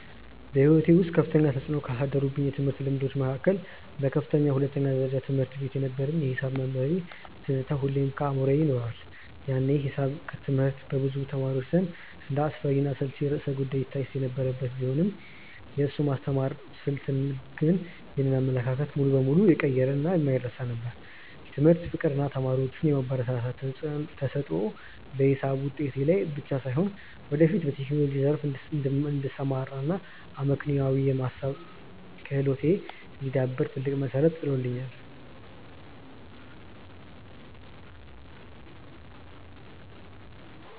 በሕይወቴ ውስጥ ከፍተኛ ተፅዕኖ ካሳደሩብኝ የትምህርት ልምዶች መካከል በከፍተኛ ሁለተኛ ደረጃ ትምህርት ቤት የነበረኝ የሒሳብ መምህሬ ትዝታ ሁልጊዜም በአእምሮዬ ይኖራል። ያኔ ሒሳብ ትምህርት በብዙ ተማሪዎች ዘንድ እንደ አስፈሪና አሰልቺ ርዕሰ-ጉዳይ ይታይ የነበረ ቢሆንም፣ የእሱ የማስተማር ስልት ግን ይህንን አመለካከት ሙሉ በሙሉ የቀየረና የማይረሳ ነበር። የትምህርት ፍቅር እና ተማሪዎቹን የማበረታታት ተሰጥኦ በሒሳብ ውጤቴ ላይ ብቻ ሳይሆን፣ ወደፊት በቴክኖሎጂው ዘርፍ እንድሰማራ እና አመክንዮአዊ የማሰብ ክህሎቴ እንዲዳብር ትልቅ መሠረት ጥሎልኛል።